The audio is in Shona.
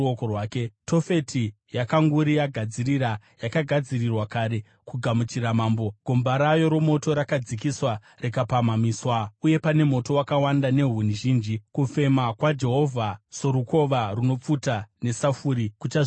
Tofeti yakanguri yagadzirira; yakagadzirirwa kare kugamuchira mambo. Gomba rayo romoto rakadzikiswa rikapamhamiswa, uye pane moto wakawanda nehuni zhinji; kufema kwaJehovha, sorukova runopfuta nesafuri, kuchazvitungidza.